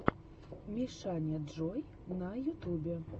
мишаняджой на ютубе